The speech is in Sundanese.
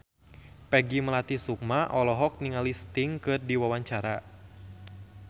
Peggy Melati Sukma olohok ningali Sting keur diwawancara